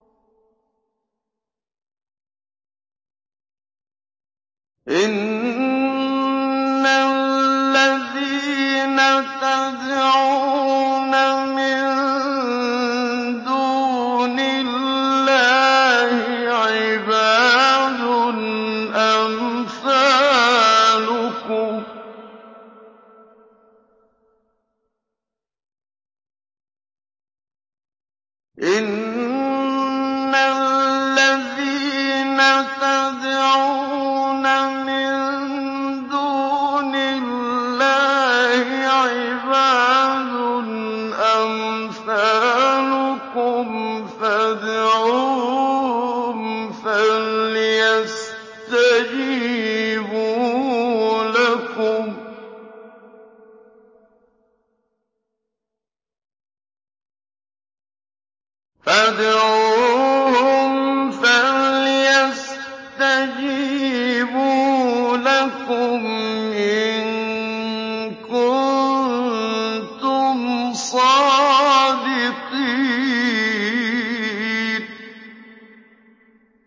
إِنَّ الَّذِينَ تَدْعُونَ مِن دُونِ اللَّهِ عِبَادٌ أَمْثَالُكُمْ ۖ فَادْعُوهُمْ فَلْيَسْتَجِيبُوا لَكُمْ إِن كُنتُمْ صَادِقِينَ